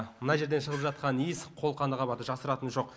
мына жерден шығып жатқан иіс қолқаны қабады жасыратыны жоқ